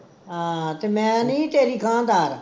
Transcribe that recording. ਹਾਂ ਤੇ ਮੈਂ ਨੀ ਸੀ ਤੇਰੀ